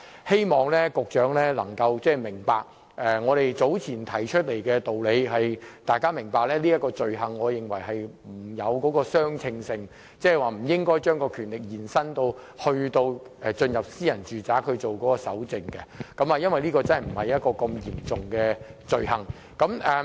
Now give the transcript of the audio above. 希望局長明白，我們早前提出來的理由是，我們認為這點與罪行沒有相稱性，即不應將權力延伸至進入私人住宅進行蒐證，因為這不涉及很嚴重的罪行。